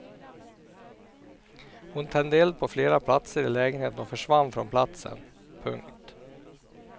Hon tände eld på flera platser i lägenheten och försvann från platsen. punkt